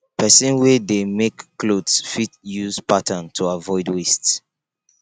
persin wey de make clothes fit use patterns to avoid waste